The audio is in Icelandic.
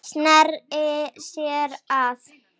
Sneri sér að